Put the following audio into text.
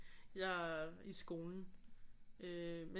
Jeg i skolen øh men